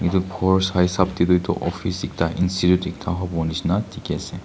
eto khor sai esap tetoh office ekta institute ekta hobo neshina teki ase.